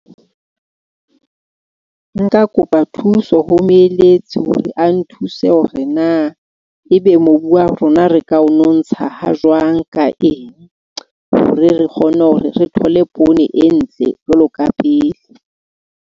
Nka kopa thuso ho moeletsi hore a nthuse hore na ebe mobu wa rona re ka o nontsha hajwang ka eng, hore re kgone hore re thole poone e ntle jwalo ka pele.